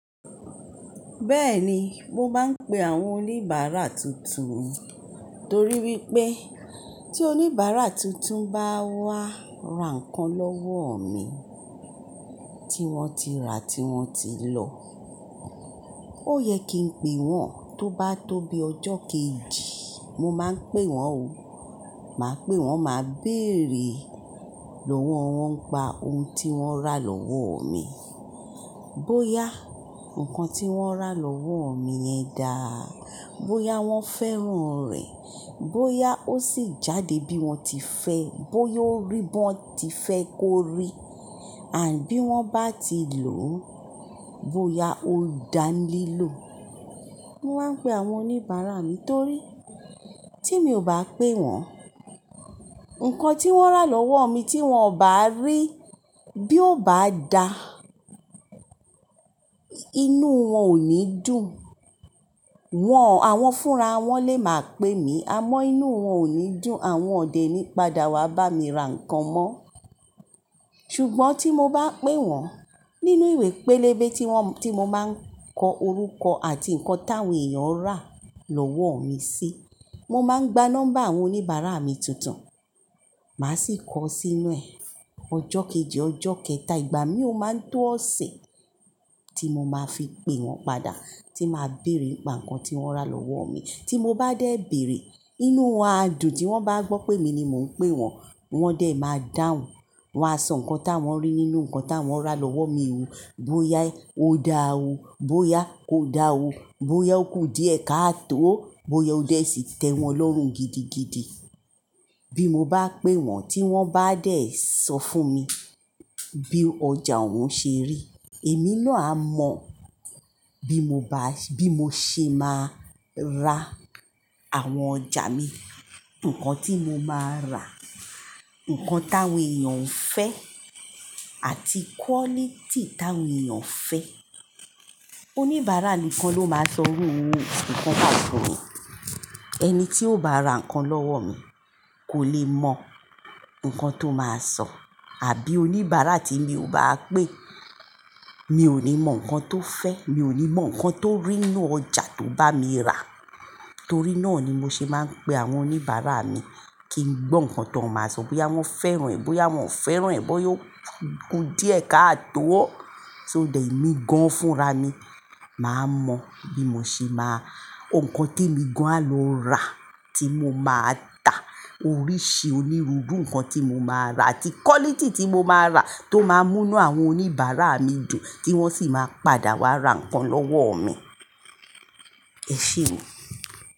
Bẹ́ẹ̀ni, mo máa ń pe àwọn oníbàárà tuntun mi, torí pé tí oníbàárà tuntun bá wá ra nǹkan lọ́wọ́ mi tí wọ́n ti rà tí wọ́n ti lọ, ó yẹ kí n pe wọ́n. Tó bá tó bi ọjọ́ kejì, mo máa ń pe wọ́n o. Màá pe wọ́n, màá béèrè lòwó wọn ńipa ohun tí wọ́n rà lọ́wọ́ mi. Bóyá ǹkan tí wọ́n rà lọ́wọ́ mi yẹn dáa, bóyá wọ́n fẹ́ràn rẹ̀, bóyá ó sì jáde bí wọ́n ti fẹ́, bóyá ó rí bí wọ́n ti fẹ́ kó rí, àbí bí wọ́n bá ti lò ó, bóyá ó dáa nílò. Mo máa ń pe àwọn oníbàárà mi torí tí mi ò bá pé wọ́n, ǹkan tí wọ́n rà lọ́wọ́ mi tí wọ́n ò bá rí bí ó bá dáa, inú wọn ò ní dùn. Wọn, àwọn fúnra wọn lè máa pe mí, àmọ́ inú wọn ò ní dùn. Àwọn ò dé ní padà wá bá mi ra nǹkan mó. Ṣùgbọ́n tí mo bá pé wọ́n nínú ìwé pélébé tí wọ́n, tí mo máa ń kọ orúkọ àti ǹkan táwọn èèyàn rà lọ́wọ́ mi sí, mo máa ń gba nọ́mbà àwọn oníbàárà mi tuntun. Màá sì kọ sí inú ẹ̀. Ọjọ́ kejì, ọjọ́ kẹta, ìgbà mí ò máa ń tó ọ̀sẹ̀ tí mo máa fi pe wọ́n padà, tí màá béèrè ìpà kan tí wọ́n rà lọ́wọ́ mi. Tí mo bá dé bèèrè, inú wọn a dùn. Tí wọ́n bá gbọ́ pé mi ni mò ń pe wọ́n, wọ́n dẹ̀ máa dáhùn. Wọn á sọ ǹkan táwọn rí nínú ǹkan táwọn rà lọ́wọ́ mi hun. Bóyá ó dáa o, bóyá kò dáa o, bóyá ó kù díẹ̀ ká tó o, bóyá ó dẹ̀ sì tẹ́ wọn lọ́rùn gidigidi. Bí mo bá pe wọ́n, tí wọ́n bá dé sọ fún mi bí ọjà wọn ṣe rí, èmi náà á mọ bí mo bá, bí mo ṣe máa ra àwọn ọjà mi, ǹkan tí mo máa rà, ǹkan táwọn èèyàn ń fẹ́ àti quality táwọn èèyàn ń fẹ́. Oníbàárà nìkan ló máa sọrú ǹkan báyìí fún mi. Ẹni tí ò bá ra nǹkan lọ́wọ́ mi kò lè mọ ǹkan tó máa sọ. Àbí oníbàárà tí mi ò bá pé, mi ò ní mọ ǹkan tó fẹ́, mi ò ní mọ ǹkan tó rí nínú ọjà tó bá mi rà. Torí náà ni mo ṣe máa ń pe àwọn oníbàárà mi kí n gbọ́ ǹkan tó máa sọ. Bóyá wọ́n fẹ́ràn rẹ̀, bóyá wọ́n ò fẹ́ràn rẹ̀, bóyá ó kù díẹ̀ ká tó o, tó dé tí mi gan fúnra mi, màá mọ bí mo ṣe máa, ǹkan tí èmi gan á lọ rà, tí mo máa tà, oríṣi onírúurú ǹkan tí mo máa rà àti quality tí mo máa rà tó máa mú inú àwọn oníbàárà mi dùn kí wọ́n sì máa padà wá ra nǹkan lọ́wọ́ mi. Ẹ ṣé o.